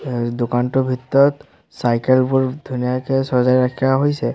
এই দোকানটোৰ ভিতৰত চাইকেলবোৰ ধুনীয়াকৈ সজাই ৰখা হৈছে।